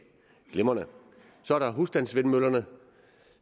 glimrende så er der husstandsvindmøllerne